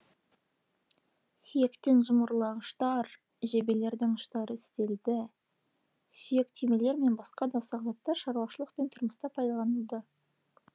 сүйектен жұмырлағыштар жебелердің ұштары істелді сүйек түймелер мен баска да ұсақ заттар шаруашылық пен тұрмыста пайдаланылды